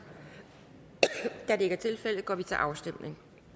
da det ikke er tilfældet går vi til afstemning